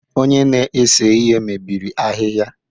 Onye na-ese ihe mebiri ahịhịa